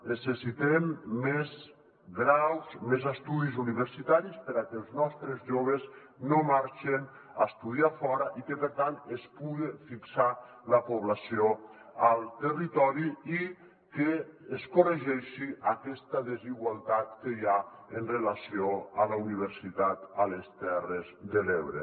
necessitem més graus més estudis universitaris perquè els nostres joves no marxen a estudiar fora i que per tant es puga fixar la població al territori i es corregeixi aquesta des·igualtat que hi ha amb relació a la universitat a les terres de l’ebre